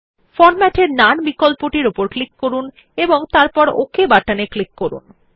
format এ none বিকল্প উপর ক্লিক করুন এবং তারপর ওক বাটনে ক্লিক করুন